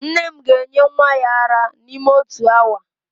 Nne m ga-enye nwa ya ara n'ime otu awa